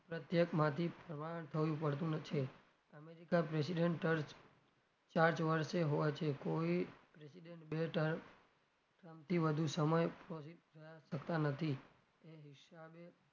પ્રત્યેકમાંથી પડતું છે america president હોવે છે કોઈ president બે time થી વધુ સમય શકતા નથી એ હિસાબે,